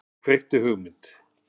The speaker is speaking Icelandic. Og kveikti hugmynd.